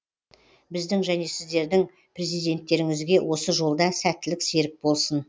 біздің және сіздердің президенттеріңізге осы жолда сәттілік серік болсын